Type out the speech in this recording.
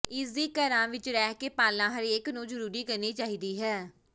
ਇਸ ਦੀ ਘਰਾਂ ਵਿਚ ਰਹਿ ਕੇ ਪਾਲਣਾ ਹਰੇਕ ਨੂੰ ਜਰੂਰੀ ਕਰਨੀ ਚਾਹੀਦੀ ਹੈ